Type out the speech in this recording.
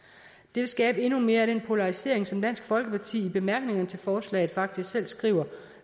vil skabe endnu mere af den polarisering som dansk folkeparti i bemærkningerne til forslaget faktisk selv skriver